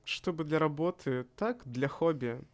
чтобы для работы так для хобби